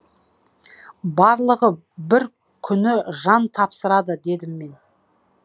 барлығы бір күні жан тапсырады дедім мен